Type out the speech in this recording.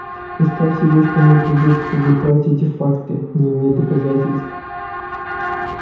представь себе что мне придётся опубликовать эти факты не имея доказательств